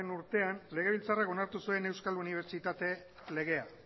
urtean legebiltzarrak onartu zuen euskal unibertsitate legea